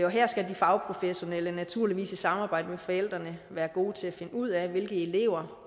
og her skal de fagprofessionelle naturligvis i samarbejde med forældrene være gode til at finde ud af hvilke elever